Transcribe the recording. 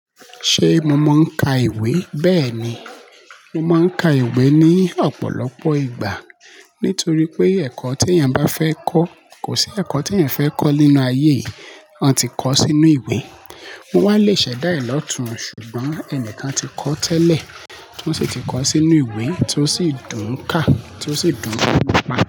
Ṣé mo mò ń ka ìwé? Bẹ́ẹ̀ ni, mo máa ń ka ìwé ní ọ̀pọ̀lọpọ̀ ìgbà. Nítorí pé ẹ̀kọ́ tí èèyàn bá fẹ́ kọ́, kò sí ẹ̀kọ́ tí èèyàn fẹ́ kọ́ nínú ayé, wọ́n ti kọ ọ́ sínú ìwé. Wọ́n wá le ṣẹ̀dá ẹ̀ lọ́tùn, ṣùgbọ́n ẹnìkan ti kọ ọ́ tẹ́lẹ̀, tó sì ti kọ ọ́ sínú ìwé, tó sì dùn ká, tó sì dùn ká.